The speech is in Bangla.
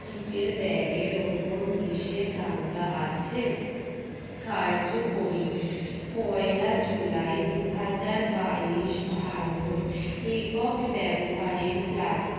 tic এর bag ওপর নিষেধাজ্ঞা আছে কার্যকরী পয়লা জুলাই দুই হাজার বাইশ একক ব্যবহারের plas